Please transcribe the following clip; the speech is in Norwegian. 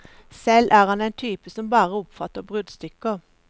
Selv er han en type som bare oppfatter bruddstykker.